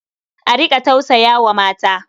A riƙa tausaya wa mata.